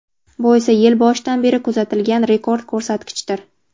Bu esa yil boshidan beri kuzatilgan rekord ko‘rsatkichdir.